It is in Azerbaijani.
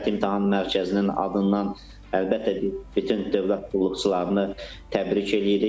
Dövlət İmtahan Mərkəzinin adından əlbəttə biz bütün dövlət qulluqçularını təbrik eləyirik.